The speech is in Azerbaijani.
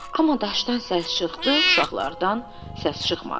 Amma daşdan səs çıxdı, uşaqlardan səs çıxmadı.